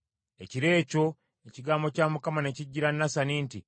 Ekiro ekyo ekigambo kya Mukama ne kijjira Nasani nti,